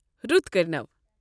!رُت کٔرنوٕ